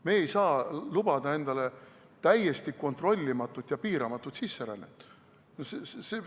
Me ei saa lubada endale täiesti kontrollimatut ja piiramatut sisserännet.